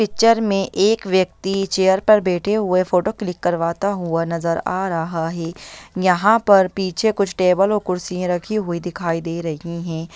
Picture में एक व्यक्ति चेयर पर बैठे हुए फोटो क्लिक करवाता हुआ नजर आ रहा है यहां पर पीछे कुछ टेबल और कुर्सिए रखी हुइ दिखाइ दे रही है।